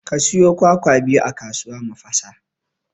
Ka sayo kwakwa biyu a kasuwa mu fasa